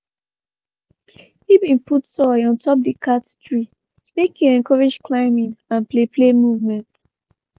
he been put toy on top the cat tree make he encourage climbing and play play movement